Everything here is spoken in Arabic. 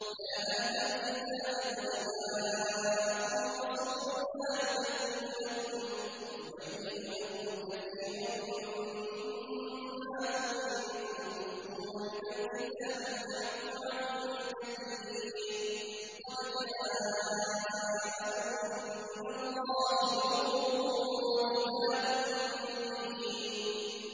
يَا أَهْلَ الْكِتَابِ قَدْ جَاءَكُمْ رَسُولُنَا يُبَيِّنُ لَكُمْ كَثِيرًا مِّمَّا كُنتُمْ تُخْفُونَ مِنَ الْكِتَابِ وَيَعْفُو عَن كَثِيرٍ ۚ قَدْ جَاءَكُم مِّنَ اللَّهِ نُورٌ وَكِتَابٌ مُّبِينٌ